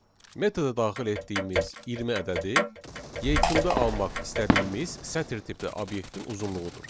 Metoda daxil etdiyimiz 20 ədədi yekunda almaq istədiyimiz sətir tipli obyektin uzunluğudur.